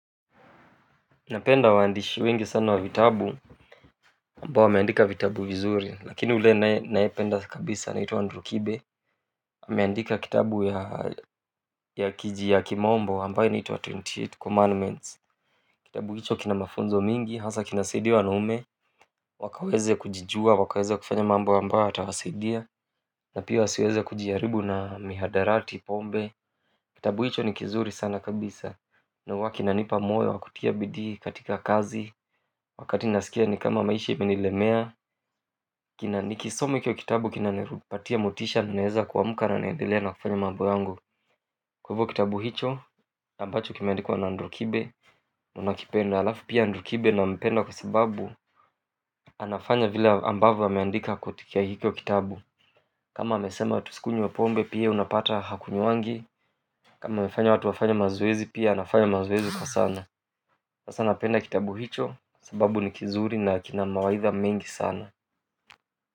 Napenda waandishi wengi sana wa vitabu ambao wameandika vitabu vizuri lakini ule naye nayependa kabisa anaitwa Andrew Kibe. Nimeandika kitabu ya kiji ya kimombo ambayo inaitwa twenty eight commandments kitabu hicho kina mafunzo mingi hasa kinasaidia wanaume wakaweze kujijua wakaweze kufanya mambo ambayo yatawasaidia na pia wasiweze kujiaribu na mihadarati pombe kitabu hicho ni kizuri sana kabisa na huwa kinanipa moyo wakutia bidii katika kazi wakati nasikia ni kama maisha imenilemea nikisoma hicho kitabu kinanipatia motisha naeza kuamka na niendelee kufanya mambo yangu kwa hivyo kitabu hicho, ambacho kimeandikwa na Andrew kibe nakipenda halafu pia Andrew kibe nampenda kwa sababu anafanya vile ambavo ameandika katika hicho kitabu kama amesema tusikunye wa pombe pia unapata hakunywangi kama amefanya watu wafanye mazoezi pia anafanya mazoezi kwa sana sasa napenda kitabu hicho sababu ni kizuri na kina mawaidha mengi sana.